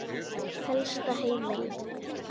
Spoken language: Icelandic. Helsta heimild